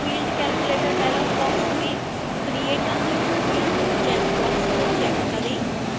field calculator dialog box में create a new field check box को check करें